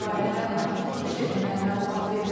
Bu barədə Bakı Tikiş evindən məlumat verilib.